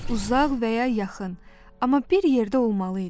Uzaq və ya yaxın, amma bir yerdə olmalı idi.